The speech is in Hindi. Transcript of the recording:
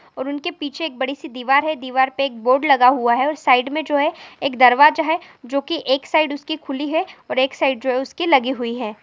और उनके पीछे एक बड़ी सी दीवार है दीवार पे एक बोर्ड लगा हुआ है और साइड में जो है एक दरवाजा है जो कि एक साइड उसकी खुली है और एक साइड जो है उसकी लगी हुई हैं ।